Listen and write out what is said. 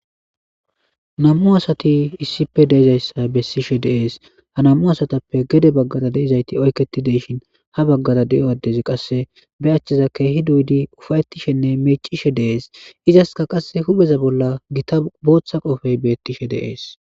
Nam'u asati issipe de'izayssa bessishe de'es ha nam'u asattappe gede baggara de'zayti oyketi de'ishin ha baggara de'o addezi qasse be achcheza keehi doyidi ufa'etishene miicishe de'es izaska qasse hupheza bolla gita booththa qoobey beetishe de'es.